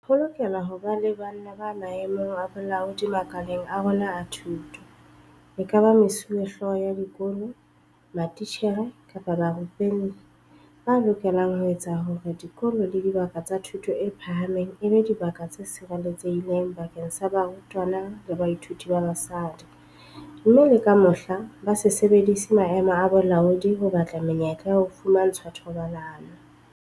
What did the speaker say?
Ho lokela ho ba banna ba maemong a bolaodi makaleng a rona a thuto, ekaba mesuwehlooho ya dikolo, matitjhere kapa barupelli, ba lokelang ho etsa hore dikolo le dibaka tsa thuto e phahameng e be dibaka tse sireletsehileng bakeng sa barutwana le bathuiti ba basadi, mme le ka mohla, ba se sebedise maemo a bolaodi ho batla menyetla ya ho fumantshwa thobalano.